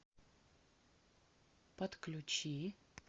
подключи